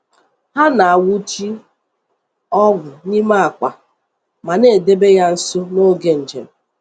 Hà na-awùchi ogwù n’ime akwa ma na-edèbe ya nso n’oge njem.